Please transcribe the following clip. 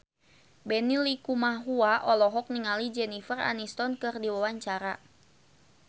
Benny Likumahua olohok ningali Jennifer Aniston keur diwawancara